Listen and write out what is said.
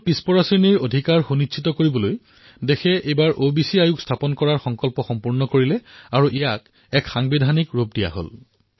পিছ পৰা সম্প্ৰদায়ৰ অধিকাৰ সুনিশ্চিত কৰাৰ বাবে দেশত এইবাৰ অবিচি আয়োগ গঠন কৰা হল আৰু ইয়াক এক সংবিধানিক অধিকাৰো প্ৰদান কৰা হল